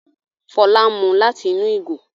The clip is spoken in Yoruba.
Fola ń mú lati inú ìgò